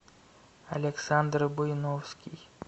александр буйновский